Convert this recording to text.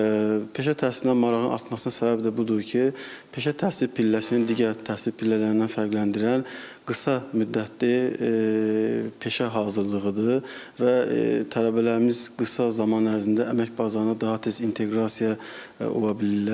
Peşə təhsilinə marağın artmasına səbəb də budur ki, peşə təhsil pilləsinin digər təhsil pillələrindən fərqləndirən qısa müddətli peşə hazırlığıdır və tələbələrimiz qısa zaman ərzində əmək bazarına daha tez inteqrasiya ola bilirlər.